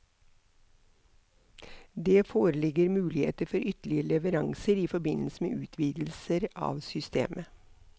Det foreligger muligheter for ytterligere leveranser i forbindelse med utvidelser av systemet.